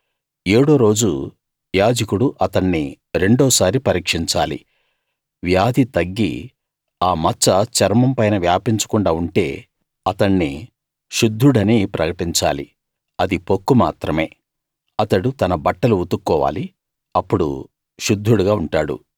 ఏడో రోజు యాజకుడు అతణ్ణి రెండోసారి పరీక్షించాలి వ్యాధి తగ్గి ఆ మచ్చ చర్మం పైన వ్యాపించకుండా ఉంటే అతణ్ణి శుద్ధుడని ప్రకటించాలి అది పొక్కు మాత్రమే అతడు తన బట్టలు ఉతుక్కోవాలి అప్పుడు శుద్ధుడుగా ఉంటాడు